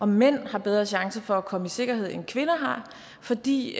mænd har bedre chancer for komme i sikkerhed end kvinder har fordi